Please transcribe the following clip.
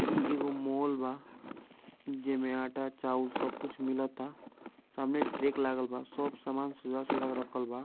ई एगो मॉल बा जेमे आटा चाउ सब कुछ मिलता सामने ट्रैक लगल बा सब सामान सजा-सजा के रखल बा।